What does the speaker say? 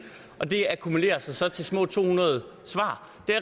og det akkumulerer sig så til små to hundrede svar